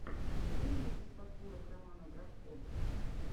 что есть из подборок романа бровко